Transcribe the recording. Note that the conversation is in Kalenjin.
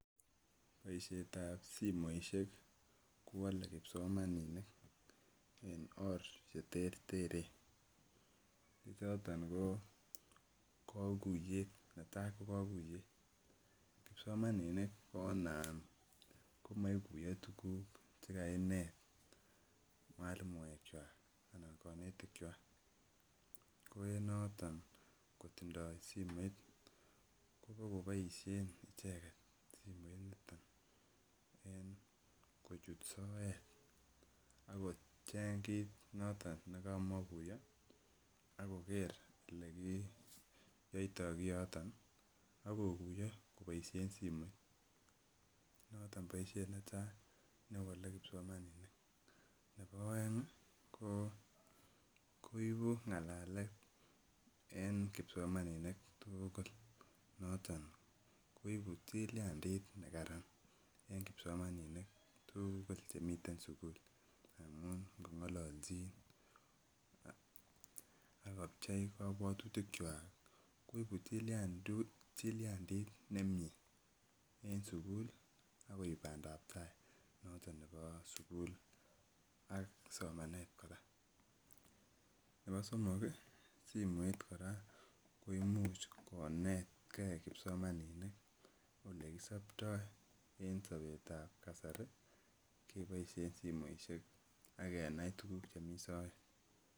Boisietab simoishek kowale kipsomaninik en oor cheterteren che choton koo kakuyeit netai ko kakuiyet, kipsomaninik kona komaikuiyo tuguk chekainet mwalimuechwak anan konetikchwak ko enoton kotindoo simoit kobo koboisien icheket simoiniton en kochut soet akocheng kit noton nekamakuiyo akoker olekiyoito kioton ii akokuiyo koboisien simoit noton boisiet netai newale kipsomaninik, ne bo aeng koipu ng'alalet en kipsomaninik tuugul noton koibu tiliandit nekaran en kipsomaninik tuugul chemiten en sugul amun ngong'ololchin akopchei kabwatutikchwak koibu tiliandit nemie en sugul akoip bandab tai noton nebo sugul ak somanet kora, ne bo somok simoit kora koimuch konetke kipsomaninik olekisoptoi en sobetab kasari keboisien simoisiek ak kenai tuguk chemi soet.